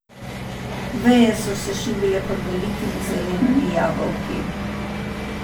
Veje so se šibile pod velikimi zelenimi jabolki.